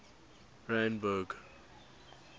randburg